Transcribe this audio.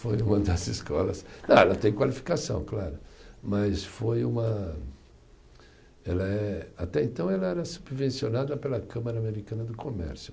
Foi uma das escolas, ah ela tem qualificação, claro, mas foi uma, ela é, até então ela era subvencionada pela Câmara Americana do Comércio.